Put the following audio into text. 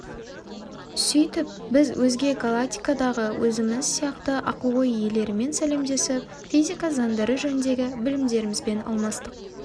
сөйтіп біз өзге галактикадағы өзіміз сияқты ақыл-ой иелерімен сәлемдесіп физика заңдары жөніндегі білімдерімізбен алмастық